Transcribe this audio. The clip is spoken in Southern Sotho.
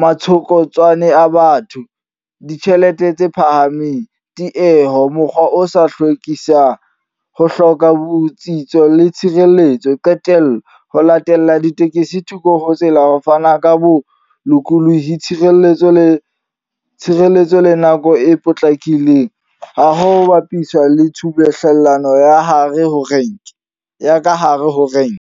matshokotsane a batho, ditjhelete tse phahameng, tieho, mokgwa o sa hlwekisa, ho hloka botsitso le tshireletso. Qetello, ho latela ditekesi thoko ho tsela ho fana ka bo lokolohi, tshireletso le tshireletso le nako e potlakileng. Ha ho bapiswa le tshubuhlellano ya hare ho renke, ya ka hare ho renke.